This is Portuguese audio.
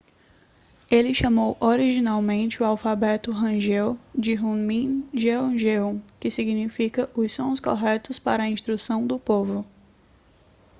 ele chamou originalmente o alfabeto hangeul de hunmin jeongeum que significa os sons corretos para a instrução do povo